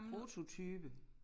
Prototype